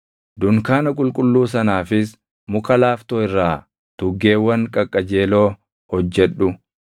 “Dunkaana qulqulluu sanaafis muka laaftoo irraa tuggeewwan qaqqajeeloo hojjedhu.